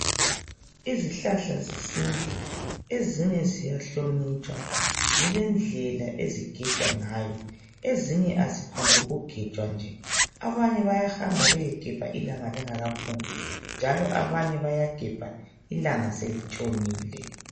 Izihlahla zesintu ezinye ziyahlonitshwa zilendlela ezigejwa ngayo ezinye kaziphombu ukugejwa njee abanye bayahamba beyegebha ilanga lingakaphumi njalo abanye bayagebha ilanga selitshonile